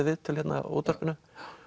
viðtöl hérna á útvarpinu